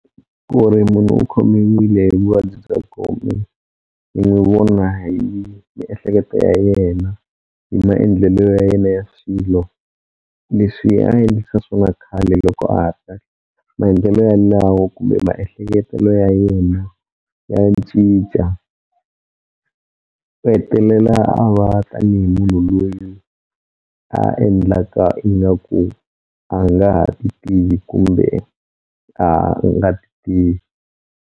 Ku ri munhu u khomiwile hi vuvabyi bya gome ni n'wi vona hi miehleketo ya yena hi maendlelo ya yena ya swilo leswi a endlisa swona khale loko maendlelo ya lawo kumbe maehleketelo ya yena ya cinca u hetelela a va tanihi munhu loyi a endlaka ingaku a nga ha ti tivi kumbe a nga ti tivi.